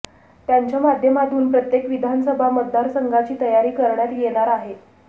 त्यांच्या माध्यमातून प्रत्येक विधानसभा मतदारसंघाची तयारी करण्यात येणार आहे